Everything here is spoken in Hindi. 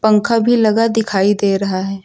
पंखा भी लगा दिखाई दे रहा है।